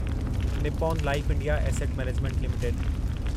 Nippon Life India Asset Management limited